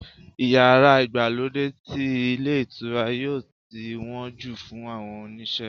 iyara Igbalode ti ilé ìtura yíò tí won ju fun àwọn oníṣe